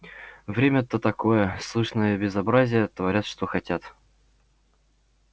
время-то такое сплошные безобразия творят что хотят